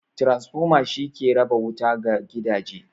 Transformer shi ke raba wuta ga gidaje.